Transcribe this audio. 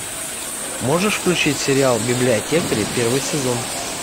можешь включить сериал библиотекари первый сезон